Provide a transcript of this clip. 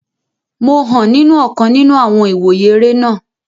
Mo hàn nínu ọ̀kan nínu àwọn ìwòye eré náà